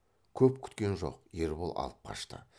көп күткен жоқ ербол алып қашты